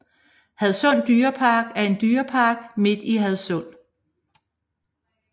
Hadsund Dyrehave er en dyrepark midt i Hadsund